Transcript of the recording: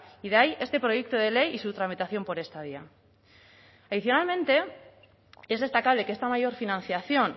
y de ahí este proyecto de ley y su tramitación por esta vía tradicionalmente es destacable que esta mayor financiación